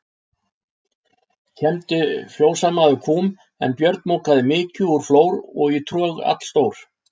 Kembdi fjósamaður kúm, en Björn mokaði mykju úr flór og í trog allstór.